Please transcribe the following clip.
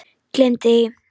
Gleymdu því!